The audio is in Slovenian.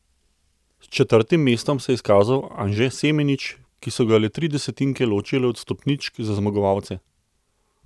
S četrtim mestom se je izkazal Anže Semenič, ki so ga le tri desetinke ločile od stopničk za zmagovalce.